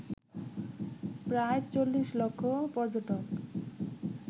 প্রায় ৪০ লক্ষ পর্যটক